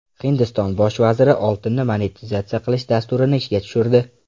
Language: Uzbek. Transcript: Hindiston bosh vaziri oltinni monetizatsiya qilish dasturini ishga tushirdi.